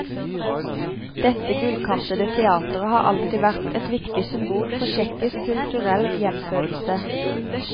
Dette gullkantede teateret har alltid vært et viktig symbol for tsjekkisk kulturell gjenfødelse.